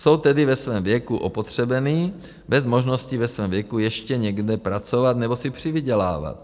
Jsou tedy ve svém věku opotřebení, bez možnosti ve svém věku ještě někde pracovat nebo si přivydělávat.